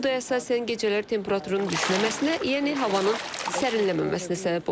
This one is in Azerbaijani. Bu da əsasən gecələr temperaturun düşməməsinə, yəni havanın sərinlənməməsinə səbəb olub.